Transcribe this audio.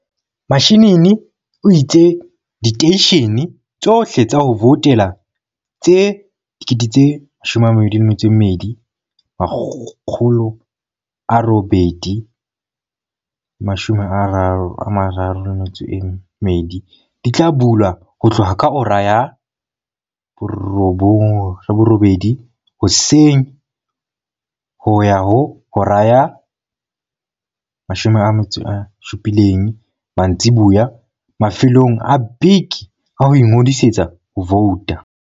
Mashinini o itse diteishe ne tsohle tsa ho voutela tse 22 932 di tla bula ho tloha ka hora ya 08:00 hoseng ho ya ho hora ya 17:00 mantsiboya mafelong a beke a ho ingodisetsa ho vouta.